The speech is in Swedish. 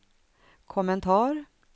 kommentar